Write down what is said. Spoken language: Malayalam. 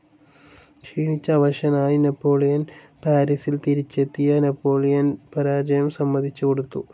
ക്ഷീണിച്ചവശനായി നാപ്പോളിയൻ പാരിസിൽ തിരിച്ചെത്തിയ നാപ്പോളിയൻ പാരാജയം സമ്മതിച്ചു കൊടുത്തു.